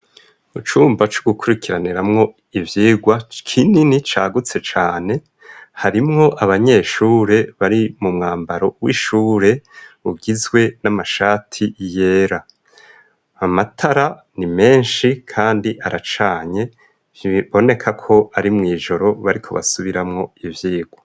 Mu cumba c'ugukurikiraniramwo ivyigwa kinini cagutse cane harimwo abanyeshure bari mu mwambaro w'ishure ugizwe n'amashati yera amatara ni menshi, kandi aracanye iboneka ko ari mw'ijoro bari ku basubira amwo ivyikwo.